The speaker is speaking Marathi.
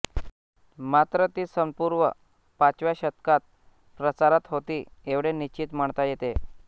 मात्र ती सनपूर्व पाचव्या शतकात प्रचारात होती एवढे निश्चित म्हणता येते